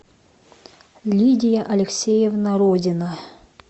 лидия алексеевна родина